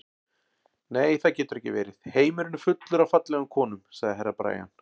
Nei, það getur ekki verið, heimurinn er fullur af fallegum konum, sagði Herra Brian.